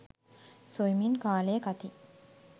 සොයමින් කාලය කති